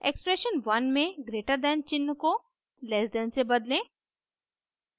expression 1 में greater than चिन्ह को लैस दैन से बदलें